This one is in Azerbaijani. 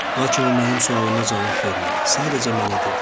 Lakin o mənim sualıma cavab vermədi, sadəcə mənə dedi: